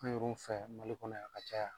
An yɛrɛw fɛ mali kɔnɔ yan ka caya.